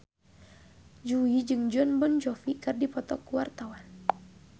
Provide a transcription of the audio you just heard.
Jui jeung Jon Bon Jovi keur dipoto ku wartawan